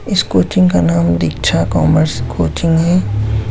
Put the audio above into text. इस कोचिंग का नाम दीक्षा कॉमर्स कोचिंग है।